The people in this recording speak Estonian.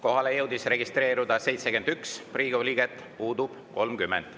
Kohalolijaks jõudis registreeruda 71 Riigikogu liiget, puudub 30.